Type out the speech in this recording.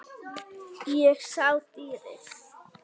Ég sá dýrið.